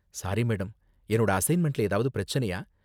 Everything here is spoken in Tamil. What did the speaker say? சாரி மேடம், என்னோட அசைன்மெண்ட்ல ஏதாவது பிரச்சனையா?